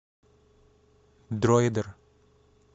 дроидер